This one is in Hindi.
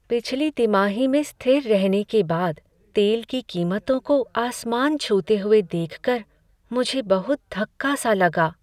पिछली तिमाही में स्थिर रहने के बाद तेल की कीमतों को आसमान छूते हुए देख कर मुझे बहुत धक्का सा लगा।